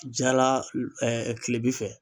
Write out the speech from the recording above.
Jala kile bi fɛ